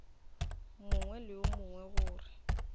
mongwe le yo mongwe gore